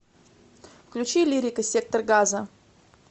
включи лирика сектор газа